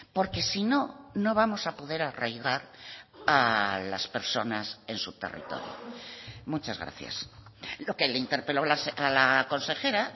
porque si no no vamos a poder arraigar a las personas en su territorio muchas gracias lo que le interpelo a la consejera